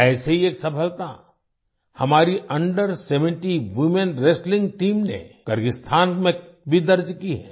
ऐसे ही एक सफलता हमारी under seventeen women wrestling team ने किर्गिस्तान में भी दर्ज की है